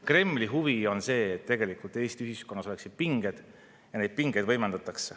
Kremli huvi on see, et Eesti ühiskonnas oleksid pinged, ja neid pingeid võimendatakse.